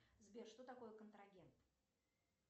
сбер что такое контрагент